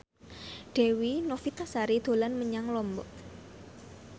Dewi Novitasari dolan menyang Lombok